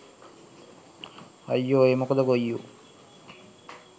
අයියො ඒ මොකද ගොයියො